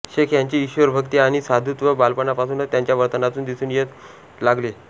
शेख ह्यांची ईश्वरभक्ती आणि साधुत्व बालपणापासूनच त्यांच्या वर्तनातून दिसून येऊ लागले